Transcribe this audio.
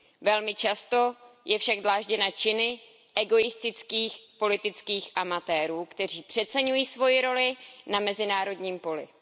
Velmi často je však dlážděna činy egoistických politických amatérů, kteří přeceňují svoji roli na mezinárodním poli.